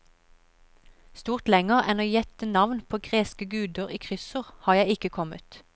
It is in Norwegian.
Stort lenger enn å gjette navn på greske guder i kryssord har jeg ikke kommet.